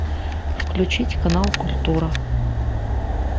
включить канал культура